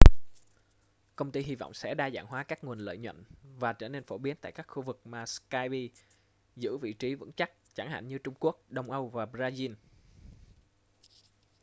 công ty hy vọng sẽ đa dạng hóa các nguồn lợi nhuận và trở nên phổ biến tại các khu vực mà skype giữ vị trí vững chắc chẳng hạn như trung quốc đông âu và brazil